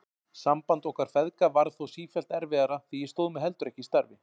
Samband okkar feðga varð þó sífellt erfiðara því ég stóð mig heldur ekki í starfi.